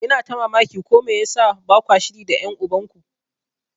Ina ta mamaki ko me yasa bakwa shiri da ƴan uban ku.